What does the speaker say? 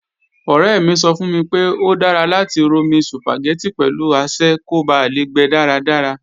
Ọ̀rẹ́ mi sọ fún mi pé, ó dára láti romi Sùpàgẹ́tì pẹ̀lú asẹ́ kó ba lè gbe dáradára